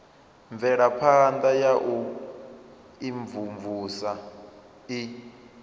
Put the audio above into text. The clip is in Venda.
mvelaphana ya u imvumvusa i